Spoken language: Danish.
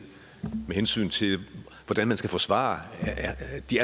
med hensyn til hvordan man skal forsvare